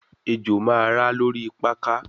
Ejo ma ra lori pakà